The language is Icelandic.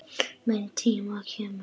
Minn tími kemur.